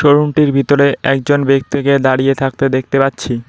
শোরুমটির ভিতরে একজন ব্যক্তিকে দাঁড়িয়ে থাকতে দেখতে পাচ্ছি।